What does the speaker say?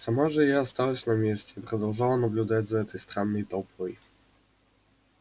сама же я осталась на месте и продолжала наблюдать за этой странной толпой